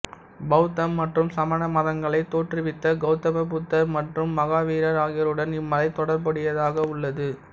பௌத்தம் மற்றும் சமண மதங்களைத் தோற்றுவித்த கௌதம புத்தர் மற்றும் மகாவீரர் ஆகியோருடன் இம்மலை தொடர்புடையதாக உள்ளது